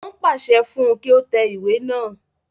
Wọ́n pàṣẹ fún un kí ó tẹ ìwé náà